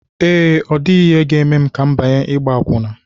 Ee, ọ dịghị ihe ga-eme ka m banye ịgba akwụna